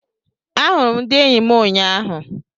A hụrụ m ndị eyi m ụnyaahụ.